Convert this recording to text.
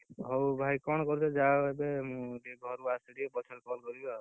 ହଉ ଭାଇ କଣ କରୁଛ ଯାଅ, ମୁଁ ଟିକେ ଘରୁ ଆସେ ଟିକେ, ପଛେରେ call କରିବି ଆଉ,